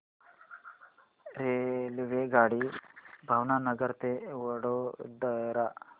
रेल्वेगाडी भावनगर ते वडोदरा